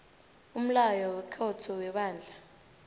umlayo wekhotho webandla